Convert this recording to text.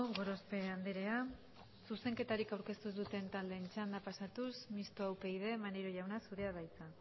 gorospe andrea zuzenketarik aurkeztu ez duten taldeen txandara pasatuz mistoa upyd maneiro jauna zurea da hitza